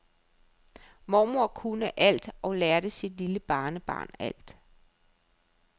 Mormor kunne alt og lærte sit lille barnebarn alt.